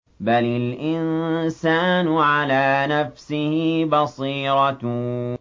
بَلِ الْإِنسَانُ عَلَىٰ نَفْسِهِ بَصِيرَةٌ